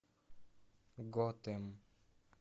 готэм